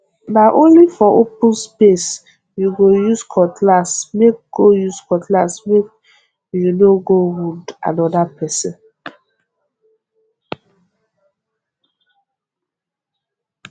na only for open space you go use cutlassmake go use cutlassmake you no go wound another person